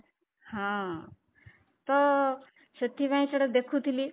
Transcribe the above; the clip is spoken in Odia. ହଁ, ତ ସେଥିପାଇଁ ସେଟା ଦେଖୁଥିଲି